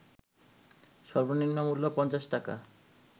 সর্বনিম্ন মূল্য ৫০ টাকা